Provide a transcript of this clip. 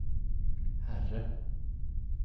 herre